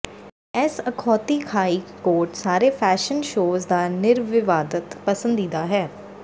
ਇਸ ਅਖੌਤੀ ਖਾਈ ਕੋਟ ਸਾਰੇ ਫੈਸ਼ਨ ਸ਼ੋਅਜ਼ ਦਾ ਨਿਰਵਿਵਾਦਤ ਪਸੰਦੀਦਾ ਹੈ